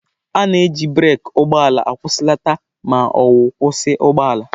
A na-eji breeki ụgbọ ala akwụsịlata ma ọ bụ kwụsị ụgbọ ala.